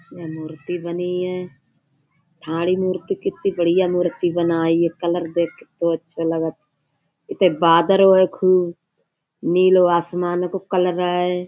यह मूर्ति बनी है। भाड़ी मूर्ति कितनी बढियां मूर्ति बनाई है। कलर देख के तो अच्छा लगत। इते बादर है खूब। नीलो आसमान को कलर ऐ।